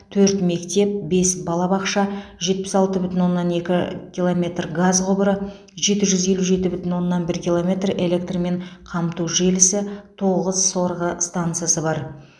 төрт мектеп бес балабақша жетпіс алты бүтін оннан екі километр газ құбыры жеті жүз елу жеті бүтін оннан бір километр электрмен қамту желісі тоғыз сорғы станцасы бар